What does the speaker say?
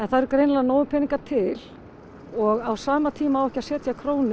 það eru greinlega nógir peningar til og á sama tíma á ekki að setja krónu